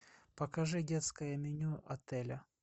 покажи детское меню отеля